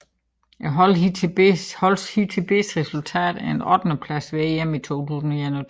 Holdets hidtil bedste resultat er en ottendeplads ved EM 2021